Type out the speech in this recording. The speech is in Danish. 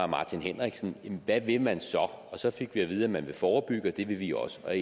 martin henriksen hvad vil man så og så fik vi at vide at man vil forebygge og det vil vi også der